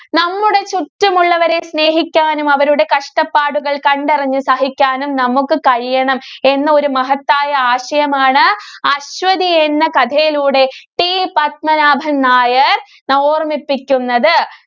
നമ്മുടെ ചുറ്റുമുള്ളവരെ സ്നേഹിക്കാനും, അവരുടെ കഷ്ടപ്പാടുകള്‍ കണ്ടറിഞ്ഞു സഹിക്കാനും നമുക്ക് കഴിയണം എന്നൊരു മഹത്തായ ആശയമാണ് അശ്വതി എന്ന കഥയിലൂടെ T പത്മനാഭന്‍ നായര്‍ ഓര്‍മ്മിപ്പിക്കുന്നത്.